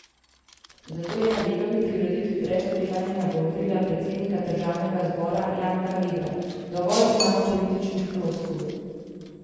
Zato je na Delovi prireditvi brez oklevanja nagovorila predsednika državnega zbora Janka Vebra: 'Dovolj imamo političnih floskul.